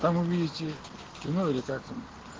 там увидите ну или как там